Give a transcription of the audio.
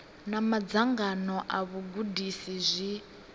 na madzangano a vhagudisi zwi